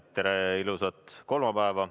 Tere ja ilusat kolmapäeva!